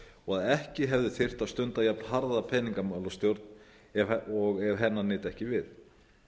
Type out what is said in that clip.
og að ekki þyrfti að stunda jafn harða peningamálastjórn og ef hennar nyti ekki við